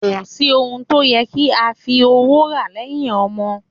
Kò sí ohun tó yẹ kí a fi owó rà lẹ́yìn ọmọ